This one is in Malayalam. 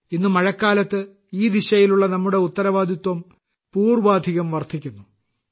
ഇന്ന് മഴക്കാലത്ത് ഈ ദിശയിലുള്ള നമ്മുടെ ഉത്തരവാദിത്തം പൂർവാധികം വർദ്ധിക്കുന്നു